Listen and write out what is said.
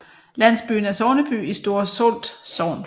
Landsbyen er sogneby i Store Solt Sogn